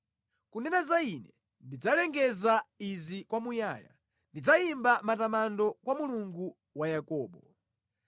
Kunena za ine, ndidzalengeza izi kwamuyaya; ndidzayimba matamando kwa Mulungu wa Yakobo.